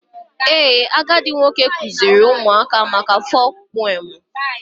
Ee, agadi nwoke kụziiri ụmụaka maka folk preomu.